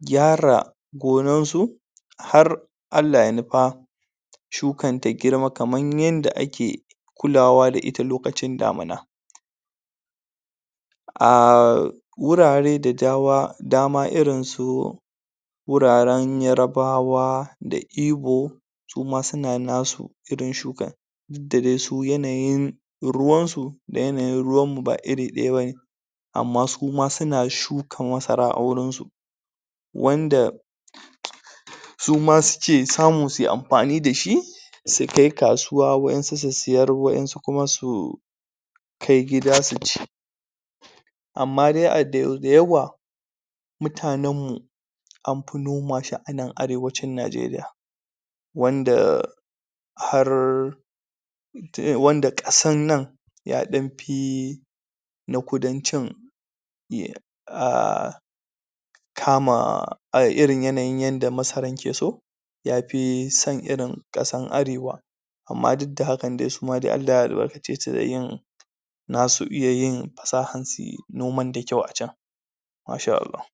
gyara gonansu har Allah ya nupa shukan ta girma kaman yanda ake kulawa da ita lokacin damuna um wurare da dama dama irin su wuraren yarbawa da ibo su ma suna nasu irin shukan dud da de su yanayin ruwan su da yanayin ruwan b=mu ba iri ɗaya bane amma su ma suna shuka masara a wurin su wanda su ma suke samu su yi ampani da shi su kai kasuwa waƴansu su siyar waƴansu kuma su kai gida su ci amma dai dayawa mutanen mu am pi noma shi anan arewaci Najeriya wanda har ta wanda ƙasan nan ya ɗam pi na kudancin kama a irin yanayin yanda masaran ke so ya pi san irin ƙasan arewa amma dud da hakan de suma de Allah ya albarkace su da yin nasu iya yin pasahan suyi noman da kyau a can Masha Allah.